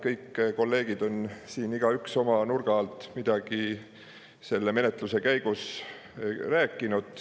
Kõik kolleegid on siin, igaüks oma nurga alt, midagi selle menetluse käigus rääkinud.